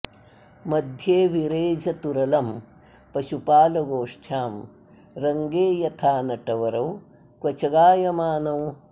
मध्ये विरेजतुरलं पशुपालगोष्ठ्यां रङ्गे यथा नटवरौ क्व च गायमानौ